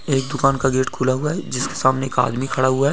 एक दुकान का गेट खुला हुआ है जिसके सामने एक आदमी खड़ा हुआ है।